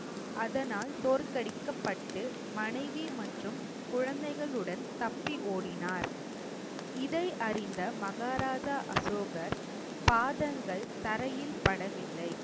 அதனால் தோற்கடிக்கப்பட்டு மனைவி மற்றும் குழந்தைகளுடன் தப்பி ஓடினார். இதை அறிந்த மகாராஜா அசோகர் பாதங்கள் தரையில் படவில்லை.